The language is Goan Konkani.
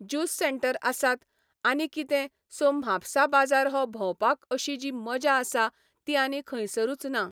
जूस सँटर आसात, आनी कितें सो म्हापसा बाजार हो भोंवपाक अशी जी मजा आसा ती आनी खंयसरूच ना.